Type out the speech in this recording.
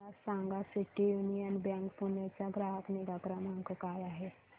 मला सांगा city union bank Pune चा ग्राहक निगा क्रमांक काय आहे